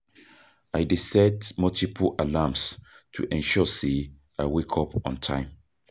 I dey set multiple alarms to ensure say I wake up on time.